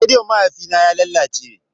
Rediyon mahaifina ya lalace.